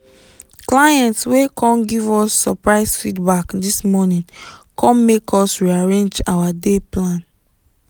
client wey come give us surprise feedback this morning com make us rearrange our day plan.